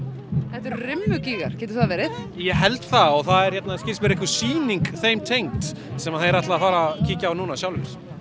þetta eru getur það verið ég held það og það er hérna skilst mér einhver sýning þeim tengd sem þeir ætla að fara kíkja á núna sjálfir